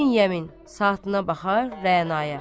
İbn Yəmin saatına baxar Rəanaya.